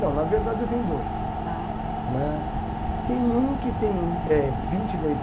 Não, na verdade eu tenho dois. Ah tá. Né. Tem um que tem eh vinte e dois